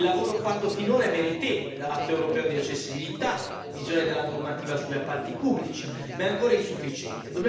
Il lavoro fatto finora è meritevole, dall'atto europeo di accessibilità alla revisione della normativa sugli appalti pubblici, ma è ancora insufficiente.